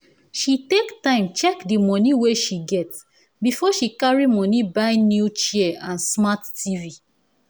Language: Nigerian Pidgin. she take time check di moni wey she get before she carry moni buy new chair and smart tv